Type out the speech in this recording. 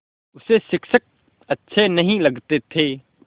उसे शिक्षक अच्छे नहीं लगते थे